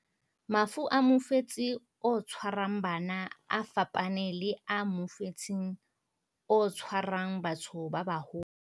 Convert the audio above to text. Mafu a mofetshe o tshwarang bana a fapane le a mofetshe o tshwarang batho ba baholo.